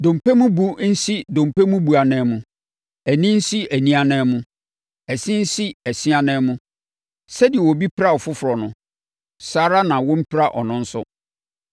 Dompe mu bu nsi dompe mu bu ananmu; ani nsi ani ananmu; ɛse nsi ɛse ananmu. Sɛdeɛ obi pira ɔfoforɔ no, saa ara na wɔmpira ɔno nso.